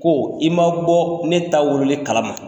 Ko i m'a bɔ ne ta wololi kalama.